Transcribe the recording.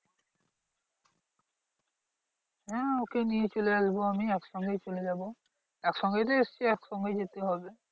হ্যাঁ ওকে নিয়ে চলে আসবো আমি একসঙ্গেই চলে যাবো। একসঙ্গেই তো এসেছি একসঙ্গেই যেতে হবে।